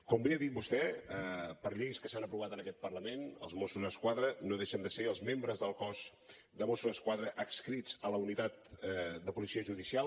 com bé ha dit vostè per lleis que s’han aprovat en aquest parlament els mossos d’esquadra no deixen de ser els membres del cos de mossos d’esquadra adscrits a la unitat de policia judicial